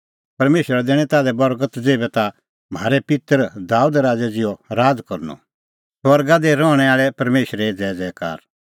परमेशरा दैणीं ताल्है बर्गत ज़ेभै ताह म्हारै पित्तर दाबेद राज़ै ज़िहअ राज़ करनअ स्वर्गा दी रहणैं आल़ै परमेशरे ज़ैज़ैकार